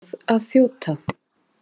Ég verð að þjóta!